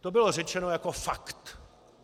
To bylo řečeno jako fakt.